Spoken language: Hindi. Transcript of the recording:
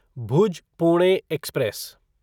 भुज पुणे एक्सप्रेस